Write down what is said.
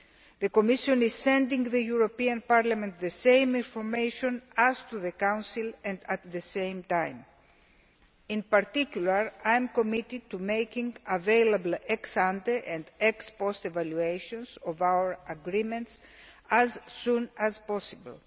The Commission is sending the European Parliament the same information as to the Council and at the same time. In particular, I am committed to making available ex ante and ex post evaluations of our agreements as soon as possible.